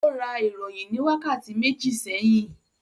Ó ra ìròyìn ní wákàtí méjì sẹ́yìn?